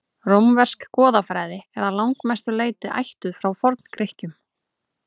rómversk goðafræði er að langmestu leyti ættuð frá forngrikkjum